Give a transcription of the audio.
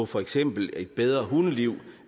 for eksempel et bedre hundeliv